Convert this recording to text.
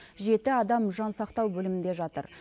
жеті адам жансақтау бөлімінде жатыр